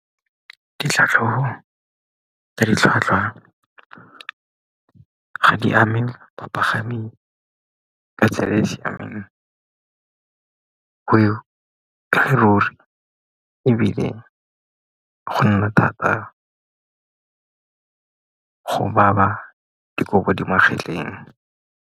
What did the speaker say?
Ditlhatlhogo ya ditlhwatlhwa ga di ame bapagami ka tsela e e siameng, go ruri ebile go nna thata go baba dikobo di magetleng.